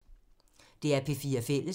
DR P4 Fælles